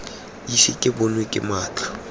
ise ke bonwe ke matlho